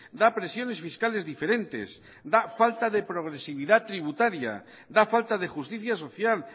da presiones fiscales diferentes da falta de progresividad tributaria da falta de justicia social